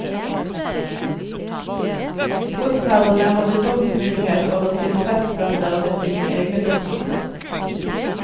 Godsherrene hadde domsmyndighet over sine festebønder ved sine egne domsstoler.